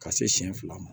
Ka se siɲɛ fila ma